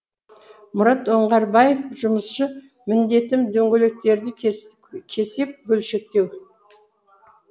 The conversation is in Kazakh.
мұрат оңғарбаев жұмысшы міндетім дөңгелектерді кесіп бөлшектеу